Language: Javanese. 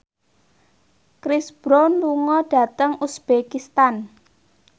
Chris Brown lunga dhateng uzbekistan